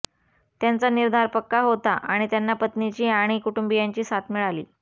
त्यांचा निर्धार पक्का होता आणि त्यांना पत्नीची आणि कुटुंबियांची साथ मिळाली